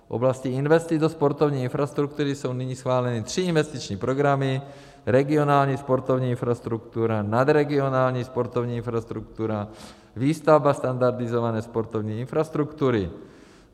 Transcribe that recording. V oblasti investic do sportovní infrastruktury jsou nyní schváleny tři investiční programy - Regionální sportovní infrastruktura, Nadregionální sportovní infrastruktura, Výstavba standardizované sportovní infrastruktury.